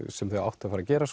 sem þau áttu að fara að gera